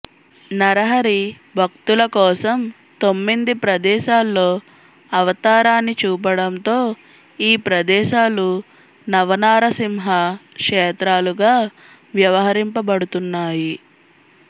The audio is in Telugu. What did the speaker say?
నరహరి భక్తుల కోసం తొమ్మింది ప్రదేశాల్లో అవతారాన్ని చూపడంతో ఈ ప్రదేశాలు నవనారసింహ క్షేత్రాలుగా వ్యవహరింపబడుతున్నాయి